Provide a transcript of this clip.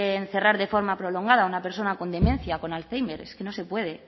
encerrar de forma prolongada a una persona con demencia o con alzhéimer es que no se puede